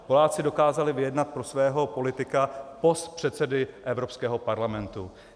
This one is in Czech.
Poláci dokázali vyjednat pro svého politika post předsedy Evropského parlamentu.